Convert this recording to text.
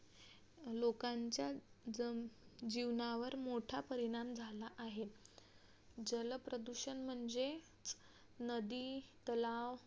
लोकांच्या जण जीवनावर मोठा परीणाम झाला आहे जलप्रदूषण म्हणजे नदी, तलाव